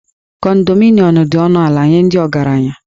Kondominiụm dị ọnụ ala nye ndị ọgaranya